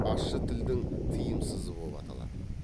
ащы тілдің тыйымсызы боп аталатын